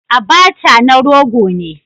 Abacha na rogo ne